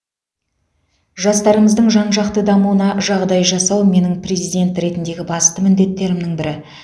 жастарымыздың жан жақты дамуына жағдай жасау менің президент ретіндегі басты міндеттерімнің бірі